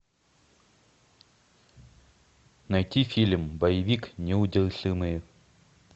найти фильм боевик неудержимые